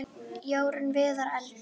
Jórunn Viðar: Eldur.